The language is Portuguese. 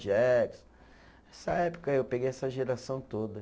Jackson. Essa época eu peguei essa geração toda.